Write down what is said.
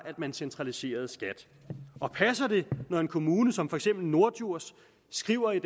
man centraliserede skat passer det når en kommune som for eksempel norddjurs skriver i